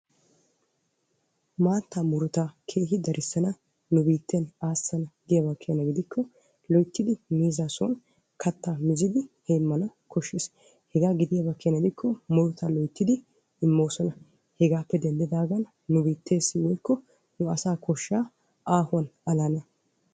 maattaa murutaa keehi darissana nu biitten aassana giyaba keena gidikko loyittidi miizzaa son kattaa mizidi heemmana koshshes. hegaa gidiyaaba keena gidikko murutaa loyittidi immoosona. hegaappe denddidagen nu biitteessi woyikko nu asaa koshshaa aahuwan alana.